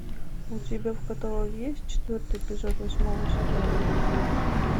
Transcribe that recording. у тебя в каталоге есть четвертый эпизод восьмого сезона люди икс